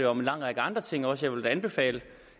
om en lang række andre ting også vil da anbefale